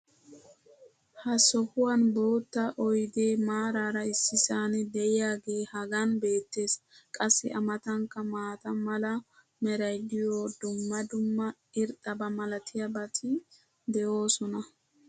ha sohuwan bootta oydee maaraara issisan diyaagee hagan beetees. qassi a matankka maata mala meray diyo dumma dumma irxxaba malatiyaabati de'oosona.